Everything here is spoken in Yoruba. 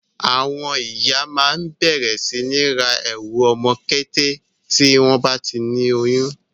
Àwọn ìyá máa ń bẹ̀rẹ̀ sí ní ra ẹrù ọmọ kété tí wọ́n bá ti lóyún.